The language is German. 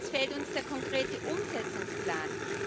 Und jetzt fehlt uns der konkrete Umsetzungsplan.